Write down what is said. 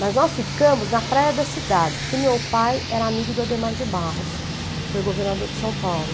Mas nós ficamos na praia da cidade, porque o meu pai era amigo do Adhemar de Barros, que foi governador de São Paulo.